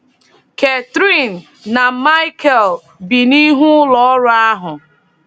Catherine na Michael bi n’ihu ụlọọrụ ahụ.